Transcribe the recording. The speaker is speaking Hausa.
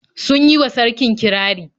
Sun yi wa sarkin kirari.